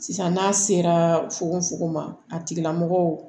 Sisan n'a sera fokonfugon ma a tigilamɔgɔ